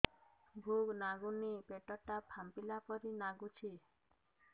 ଭୁକ ଲାଗୁନି ପେଟ ଟା ଫାମ୍ପିଲା ପରି ନାଗୁଚି